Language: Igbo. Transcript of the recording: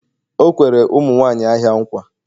o kwere ụmụ nwanyị ahịa nkwa